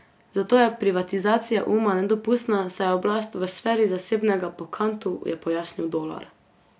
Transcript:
Zato je privatizacija uma nedopustna, saj je oblast v sferi zasebnega po Kantu, je pojasnil Dolar.